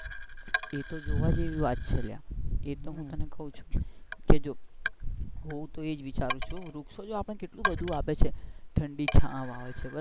એ તો જોવા જેવી છે વાત છે લ્યા કે એ તો હું તને કાઉ છુ કે જો હું તો એજ વિચારું છું વૃક્ષો તો આપણે ને કેટલું બધું આપે છે ઠંડી છાવ આપે છે,